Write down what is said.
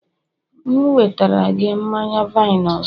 m'gēwetara gi manya-vine ọzọ?